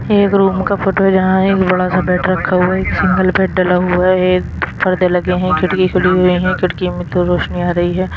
एक रूम का फोटो यहा है एक बड़ा सा बेड रखा हुआ है एक सिंगल बेड डला हुआ है एक पर्दे लगे हैं खिड़की खुली हुई हैं खिड़कियों मे तो रोशनी आ रही है।